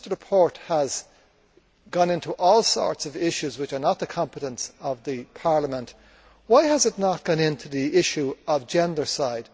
Since the report has gone into all sorts of issues which are not the competence of the Parliament, why has it not gone into the issue of gendercide?